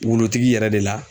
Wulutigi yɛrɛ de la.